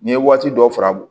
N'i ye waati dɔw fara